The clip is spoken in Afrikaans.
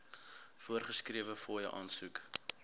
voorgeskrewe fooie aansoek